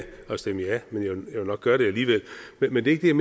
at stemme ja men jeg ville nok gøre det alligevel men det er